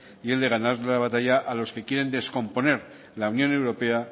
y el de ganar la batalla a los que quieren descomponer la unión europea